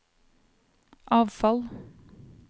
avfall